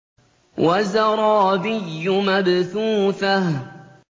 وَزَرَابِيُّ مَبْثُوثَةٌ